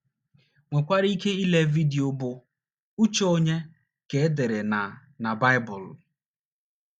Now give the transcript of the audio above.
nwekwara ike ile vidio bụ́ Uche Ònye Ka E Dere na na Baịbụl?